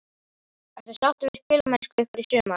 Ertu sáttur við spilamennsku ykkar í sumar?